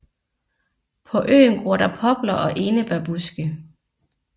På øen gror der popler og enebærbuske